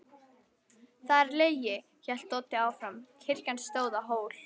Það er lygi, hélt Doddi áfram, kirkjan stóð á hól.